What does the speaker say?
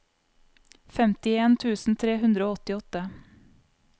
femtien tusen tre hundre og åttiåtte